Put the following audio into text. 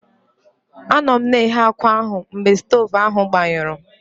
Anọ m na-eghe akwa ahụ mgbe stovu ahụ gbanyụrụ.